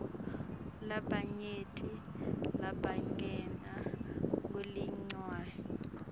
labanyenti labangenwa nguleligciwane